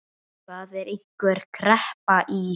Það er einhver kreppa í